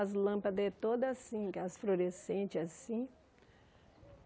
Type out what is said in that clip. As lâmpadas eram todas assim, gás fluorescente, assim.